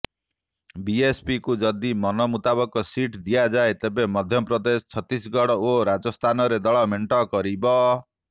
ବିଏସ୍ପିକୁ ଯଦି ମନ ମୁତାବକ ସିଟ୍ ଦିଆଯାଏ ତେବେ ମଧ୍ୟପ୍ରଦେଶ ଛତିଶଗଡ ଓ ରାଜସ୍ଥାନରେ ଦଳ ମେଣ୍ଟ କରିବ